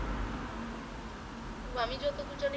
উম আমি যতদূর জানি